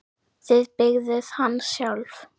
Þið byggðuð hann sjálf.